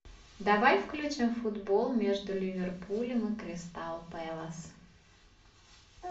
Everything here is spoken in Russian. давай включим футбол между ливерпулем и кристал пэлас